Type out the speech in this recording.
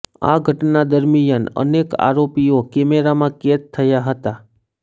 આ ઘટના દરમિયાન અનેક આરોપીઓ કેમેરામાં કેદ થયા હતા